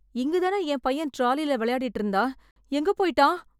இங்க தான என் பையன் டிராலில விளையாடிட்டு இருந்தான்.. எங்க போய்ட்டான்?